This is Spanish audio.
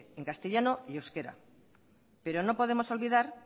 en castellano y en euskera pero no podemos olvidar